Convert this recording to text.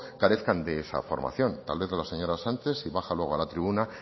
carezcan de esa formación tal vez la señora sánchez si baja luego a la tribuna